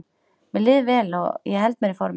Mér líður vel og ég held mér í formi.